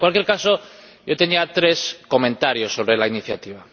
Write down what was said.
En cualquier caso, yo tenía tres comentarios sobre la iniciativa.